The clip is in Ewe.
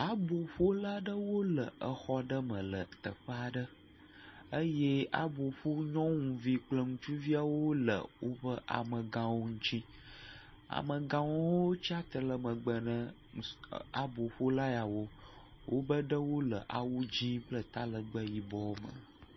Aboƒolaɖewo le exɔɖe me le teƒe aɖe eye aboƒonyɔnuvi kple ŋutsuviawo le woƒe amegãwo ŋuti. Amegãwo hã wotsi atsitre ɖe megbe ne aboƒolayawo, wobe ɖewo le awu dzē kple talegbe yibɔwo me.